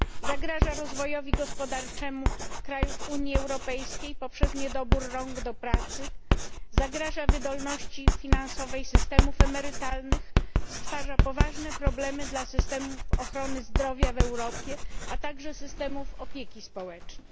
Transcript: Zagraża rozwojowi gospodarczemu krajów Unii Europejskiej poprzez niedobór rąk do pracy, zagraża wydolności finansowej systemów emerytalnych, stwarza poważne problemy dla systemów ochrony zdrowia w Europie, a także systemów opieki społecznej.